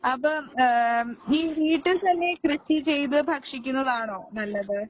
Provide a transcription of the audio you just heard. അപ്പൊ ഈ വീട്ടിത്തന്നെ കൃഷിചെയ്ത് ഭക്ഷിക്കുന്നതാണോ നല്ലത്